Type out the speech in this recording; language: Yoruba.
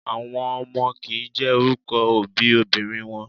Àwọn ọmọ kìí jẹ́ orúkọ òbí obìnrin wọn.